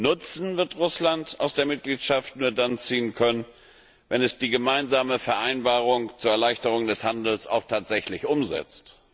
Nutzen wird Russland aus der Mitgliedschaft nur dann ziehen können, wenn es die gemeinsame Vereinbarung zur Erleichterung des Handels auch tatsächlich umsetzt.